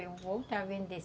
Eu vou voltar a vender.